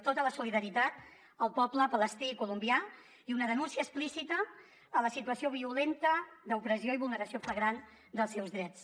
tota la solidaritat per al poble palestí i colombià i una denúncia explícita a la situació violenta d’opressió i vulneració flagrant dels seus drets